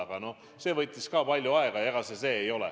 Aga see võttis palju aega.